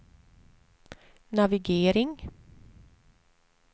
navigering